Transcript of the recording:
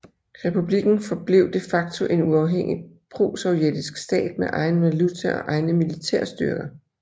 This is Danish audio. Republikken forblev de facto en uafhængig prosovjetisk stat med egen valuta og egne militære styrker